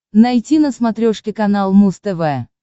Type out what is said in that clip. найти на смотрешке канал муз тв